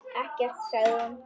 Ekkert, sagði hún.